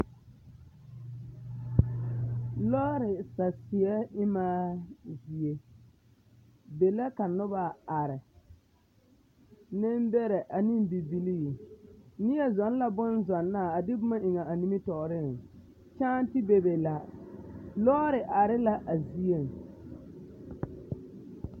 Lɔɔre saseɛ emaa zie, be la ka noba are, nembɛrɛ ane bibilii, neɛ zɔŋ la bonzɔnaa a de boma eŋ a nimitɔɔreŋ, kyaante bebe la. Lɔɔre are la a zieŋ.